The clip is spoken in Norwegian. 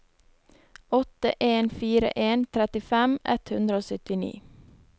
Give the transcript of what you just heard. åtte en fire en trettifem ett hundre og syttini